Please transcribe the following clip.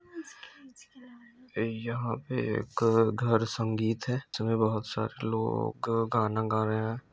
यहां पे एक घर संगीत है जिसमे बहुत सारे लोग गाना गा रहे हैं।